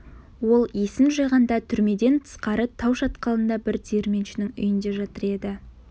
ол есін жиғанда түрмеден тысқары тау шатқалында бір диірменшінің үйінде жатыр еді